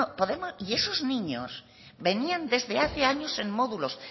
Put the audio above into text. y esos niños venían desde hace años en módulos